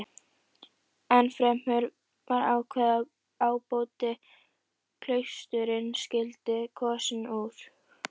Ennfremur var ákveðið að ábóti klaustursins skyldi kosinn úr